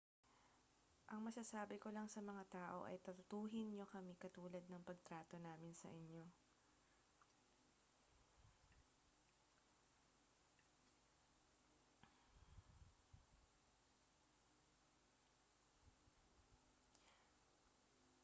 ang masasabi ko lang sa mga tao ay tratuhin ninyo kami katulad ng pagtrato namin sa inyo